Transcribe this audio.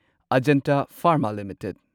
Ajanta Pharma limited